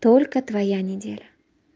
только твоя неделя